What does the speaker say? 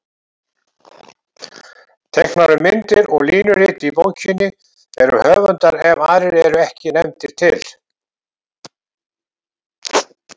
Teiknaðar myndir og línurit í bókinni eru höfundar ef aðrir eru ekki nefndir til.